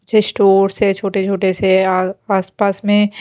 पिछे स्टोर से छोटे छोटे से आ आस पास में--